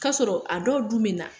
K'asɔrɔ, a dɔw dun bɛ na.